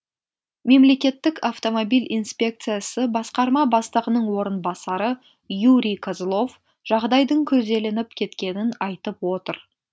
мемлекеттік автомобиль инспекциясы басқарма бастығының орынбасары юрий козлов жағдайдың күрделеніп кеткенін айтып отыр